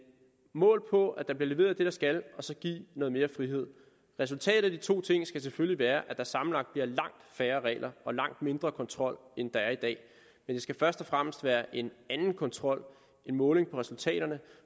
måle på at der bliver leveret det der skal og så at give noget mere frihed resultatet af de to ting skal selvfølgelig være at der sammenlagt bliver langt færre regler og langt mindre kontrol end der er i dag men det skal først og fremmest være en anden kontrol en måling på resultaterne